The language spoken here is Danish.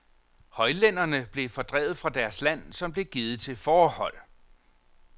Højlænderne blev fordrevet fra deres land, som blev givet til fårehold.